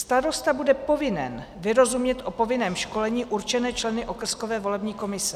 Starosta bude povinen vyrozumět o povinném školení určené členy okrskové volební komise.